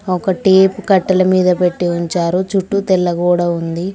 ఒక టేపు కట్టల మీద పెట్టి ఉంచారు చుట్టూ తెల్ల గోడ ఉంది.